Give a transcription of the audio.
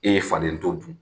E ye faden to dun.